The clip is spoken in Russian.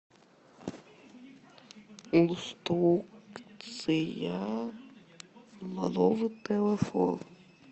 инструкция на новый телефон